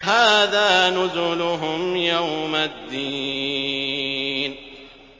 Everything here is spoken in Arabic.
هَٰذَا نُزُلُهُمْ يَوْمَ الدِّينِ